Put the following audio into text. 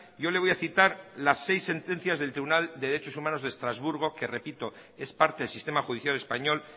yo le voy a citar las seis sentencias del tribunal de derechos humanos de estrasburgo que repito es parte del sistema judicial español